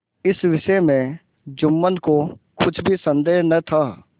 इस विषय में जुम्मन को कुछ भी संदेह न था